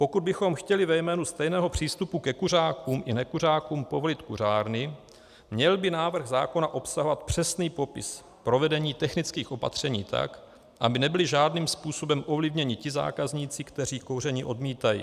Pokud bychom chtěli ve jménu stejného přístupu ke kuřákům i nekuřákům povolit kuřárny, měl by návrh zákona obsahovat přesný popis provedení technických opatření tak, aby nebyly žádným způsobem ovlivněni ti zákazníci, kteří kouření odmítají.